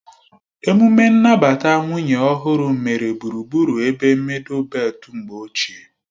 Emume nnabata nwunye ọhụrụ mere gburugburu ebe mịdul beltu mgbe ochie